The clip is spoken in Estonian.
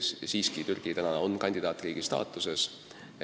Siiski on Türgi kandidaatriigi staatuses.